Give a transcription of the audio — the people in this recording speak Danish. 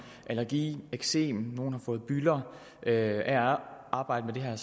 allergi eksem nogle har fået bylder af at arbejde med det her